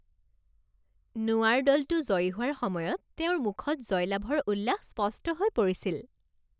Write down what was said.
নোৱাৰ দলটো জয়ী হোৱাৰ সময়ত তেওঁৰ মুখত জয়লাভৰ উল্লাস স্পষ্ট হৈ পৰিছিল